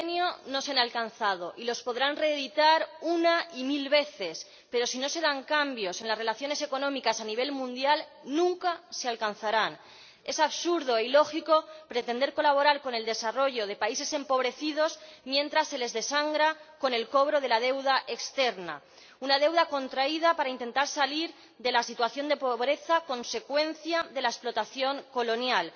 Señora Presidenta, los objetivos del milenio no se han alcanzado, y los podrán reeditar una y mil veces, pero, si no se dan cambios en las relaciones económicas a nivel mundial, nunca se alcanzarán. Es absurdo e ilógico pretender colaborar con el desarrollo de países empobrecidos mientras se les desangra con el cobro de la deuda externa, una deuda contraída para intentar salir de la situación de pobreza consecuencia de la explotación colonial